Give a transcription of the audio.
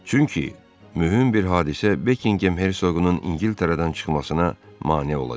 Çünki mühüm bir hadisə Bekingem hersoqunun İngiltərədən çıxmasına mane olacaq.